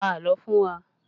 Pa àlọ́ fún wa!